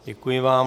Děkuji vám.